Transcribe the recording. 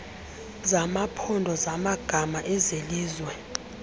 zamaphondo zamagama ezelizwe